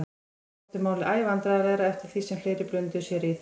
Honum þótti málið æ vandræðalegra eftir því sem fleiri blönduðu sér í það.